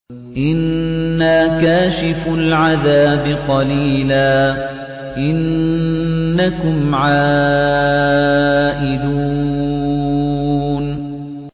إِنَّا كَاشِفُو الْعَذَابِ قَلِيلًا ۚ إِنَّكُمْ عَائِدُونَ